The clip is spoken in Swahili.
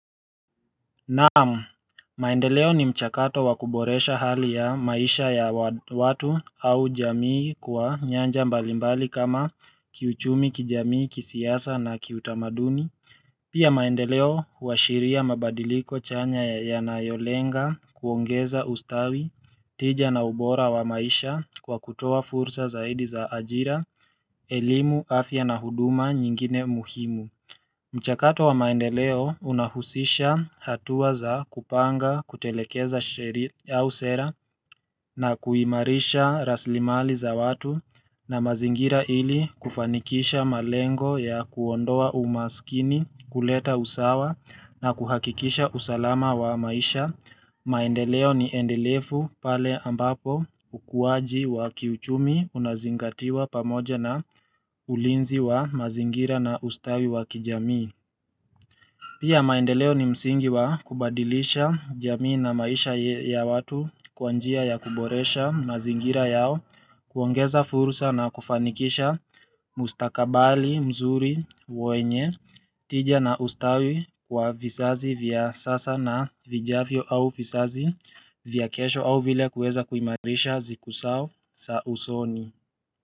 Na'am, maendeleo ni mchakato wa kuboresha hali ya maisha ya watu au jamii kwa nyanja mbalimbali kama kiuchumi, kijamii, kisiasa na kiutamaduni Pia maendeleo huashiria mabadiliko chanya yanayolenga kuongeza ustawi tija na ubora wa maisha kwa kutoa fursa zaidi za ajira, elimu, afya na huduma nyingine muhimu mchakato wa maendeleo unahusisha hatua za kupanga kutelekeza sheria au sera na kuimarisha raslimali za watu na mazingira ili kufanikisha malengo ya kuondoa umaskini, kuleta usawa na kuhakikisha usalama wa maisha. Maendeleo ni endelefu pale ambapo ukuwaji wa kiuchumi unazingatiwa pamoja na ulinzi wa mazingira na ustawi wa kijami. Pia maendeleo ni msingi wa kubadilisha jamii na maisha ya watu kwa njia ya kuboresha mazingira yao, kuongeza fursa na kufanikisha mustakabali, mzuri wenye tija na ustawi kwa vizazi vya sasa na vijavyo au vizazi vya kesho au vile kuweza kuimarisha siku zao za usoni.